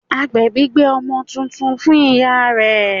Agbèbí gbé ọmọ titun fún ìyá rẹ̀